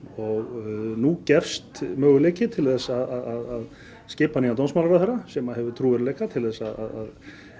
og nú gefst möguleiki til þess að skipa nýjan dómsmálaráðherra sem að hefur trúverðugleika til þess að